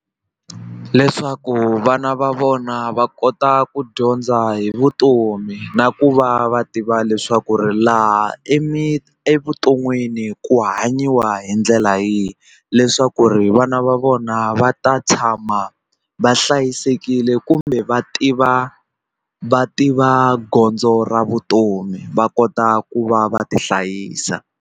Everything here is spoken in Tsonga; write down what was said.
Leswaku vana va vona va kota ku dyondza hi vutomi na ku va va tiva leswaku ri laha evuton'wini ku hanyiwa hi ndlela yihi leswaku ri vana va vona va ta tshama va hlayisekile kumbe va tiva va tiva gondzo ra vutomi va kota ku va va tihlayisa